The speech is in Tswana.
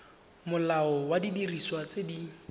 molao wa didiriswa tse di